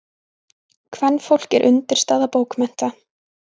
Kvenfólk er undirstaða bókmennta.